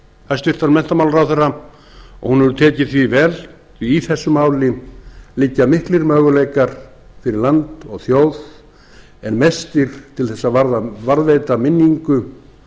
hæstvirtan menntamálaráðherra og hún hefur tekið því vel því í þessu máli liggja miklir möguleikar fyrir land og þjóð en mestir til þess að varðveita minningu